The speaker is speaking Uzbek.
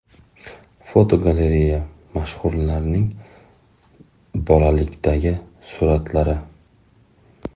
Fotogalereya: Mashhurlarning bolalikdagi suratlari.